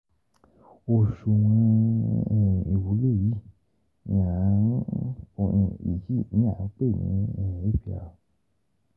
Oṣuwọn um iwulo yii ni a um yii ni a pe ni APR um